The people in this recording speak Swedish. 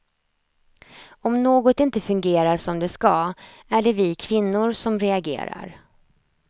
Om något inte fungerar som det ska är det vi kvinnor som reagerar.